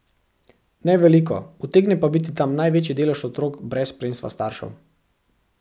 Ne veliko, utegne pa biti tam največji delež otrok brez spremstva staršev.